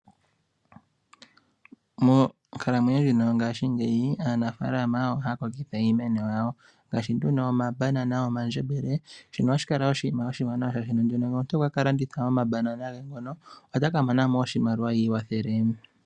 Monkalamwenyo ndjino yongaashingeyi aanafalama ohaya kokitha iimeno yawo ngaashi nduno omabanana, omandjembele, shino ohashi kala oshinima oshiwanawa. Shaashi ngele omuntu okwaka landitha omabanana ge ngono otaka mona mo oshimaliwa i iwathele.